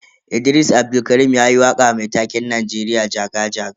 Idris Abdulkarim yayi waka mai taken Najeriya jaga-jaga.